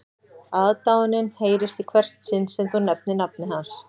Aðdáunin heyrist í hvert sinn sem þú nefnir nafnið hans